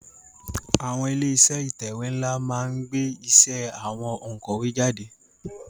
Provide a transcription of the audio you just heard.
Àwon ilé isé ìtẹ̀wé nlá ma n gbé isé àwon ònkòwé jáde